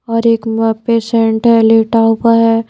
और एक पेशेंट है लेटा हुआ है।